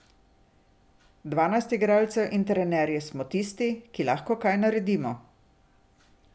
Dvanajst igralcev in trenerji smo tisti, ki lahko kaj naredimo.